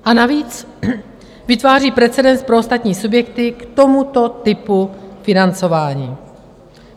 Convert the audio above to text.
A navíc vytváří precedens pro ostatní subjekty k tomuto typu financování.